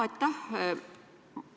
Aitäh!